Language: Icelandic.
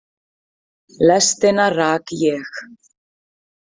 Lestina rak ég.